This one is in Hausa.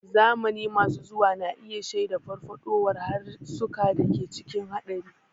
Zamani masu zuwa na iya shaida farfaɗowar harsunan da ke cikin haɗari.